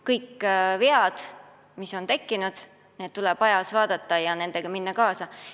Kõik vead, mis on tekkinud, tuleb parandada ja eluga kaasa minna.